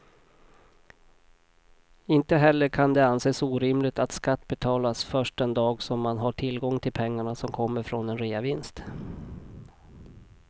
Inte heller kan det anses orimligt att skatt betalas först den dag som man har tillgång till pengarna som kommer från en reavinst.